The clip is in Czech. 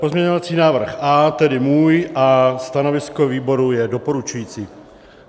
Pozměňovací návrh A, tedy můj, a stanovisko výboru je doporučující.